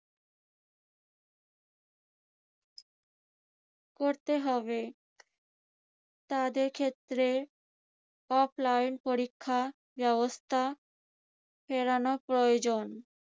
করতে হবে তাদের ক্ষেত্রে offline পরীক্ষা ব্যবস্থা ফেরানো প্রয়োজন।